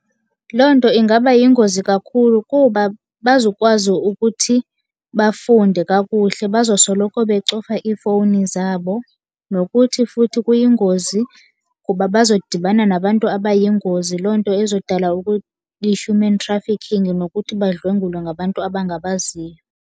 Loo nto ingaba yingozi kakhulu kuba abazukwazi ukuthi bafunde kakuhle, bazosoloko becofa iifowuni zabo. Nokuthi futhi kuyingozi kuba bazodibana nabantu abayingozi, loo nto ezodala i-human trafficking nokuthi badlwengulwe ngabantu abangabaziyo.